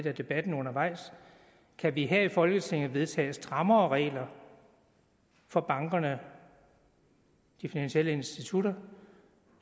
af debatten undervejs kan vi her i folketinget vedtage strammere regler for bankerne de finansielle institutter